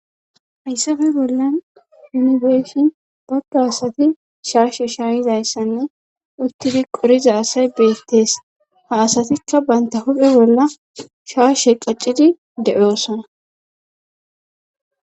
hayssafe bollan nu beeshin bagga asati shaashe shaayizayssanne uttidi qoriza asay beettees ha asatikka baynta huphe bolla shaashe qaccidi de7osana